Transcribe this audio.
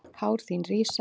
Hár þín rísa.